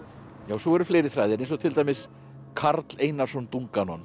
svo eru fleiri þræðir eins og til dæmis Karl Einarsson